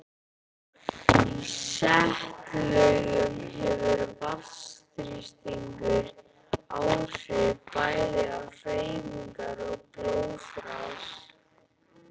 Í setlaugum hefur vatnsþrýstingur áhrif bæði á hreyfingar og blóðrás.